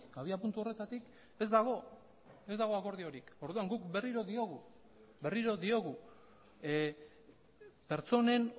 abiapuntu horretatik ez dago ez dago akordiorik orduan guk berriro diogu berriro diogu pertsonen